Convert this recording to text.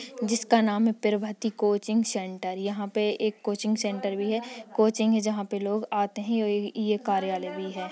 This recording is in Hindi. जिसका नाम है प्रभावती कोचिंग सेंटर यहाँ पे एक कोचिंग सेंटर भी है। कोचिंग है जहाँ पे लोग आते हैं और ये कार्यालय भी है।